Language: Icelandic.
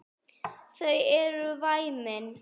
Þau eru væmin.